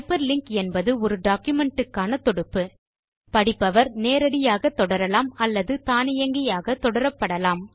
hyperlink என்பது ஒரு document க்கான தொடுப்பு படிப்பவர் நேரடியாக தொடரலாம் அல்லது தானியங்கியாக தொடரப்படலாம்